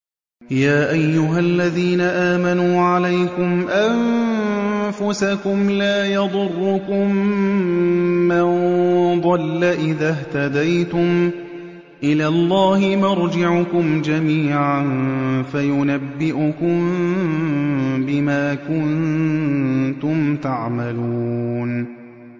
يَا أَيُّهَا الَّذِينَ آمَنُوا عَلَيْكُمْ أَنفُسَكُمْ ۖ لَا يَضُرُّكُم مَّن ضَلَّ إِذَا اهْتَدَيْتُمْ ۚ إِلَى اللَّهِ مَرْجِعُكُمْ جَمِيعًا فَيُنَبِّئُكُم بِمَا كُنتُمْ تَعْمَلُونَ